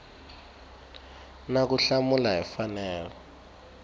na ku hlamula hi mfanelo